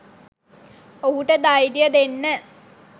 ඔහුට ධෛර්යය දෙන්න